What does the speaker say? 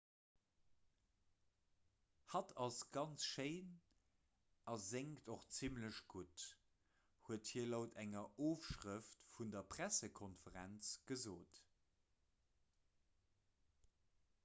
hatt ass ganz schéin a séngt och zimmlech gutt huet hie laut enger ofschrëft vun der pressekonferenz gesot